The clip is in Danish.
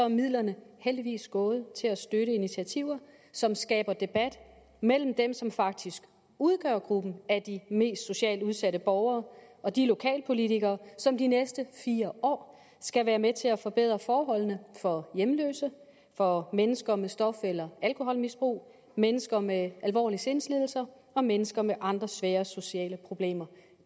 midlerne heldigvis gået til at støtte initiativer som skaber debat mellem dem som faktisk udgør gruppen af de mest socialt udsatte borgere og de lokalpolitikere som de næste fire år skal være med til at forbedre forholdene for hjemløse for mennesker med stof eller alkoholmisbrug mennesker med alvorlige sindslidelser og mennesker med andre svære sociale problemer